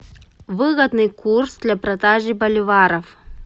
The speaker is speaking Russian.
выгодный курс для продажи боливаров